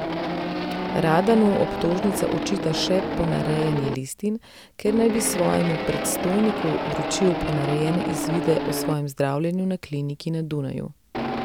Radanu obtožnica očita še ponarejanje listin, ker naj bi svojemu predstojniku vročil ponarejene izvide o svojem zdravljenju na kliniki na Dunaju.